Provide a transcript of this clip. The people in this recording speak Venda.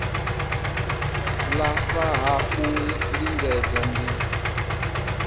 lafha ha u lingedza ndi